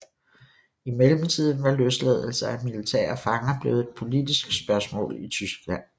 I mellemtiden var løsladelser af militære fanger blevet et politisk spørgsmål i Tyskland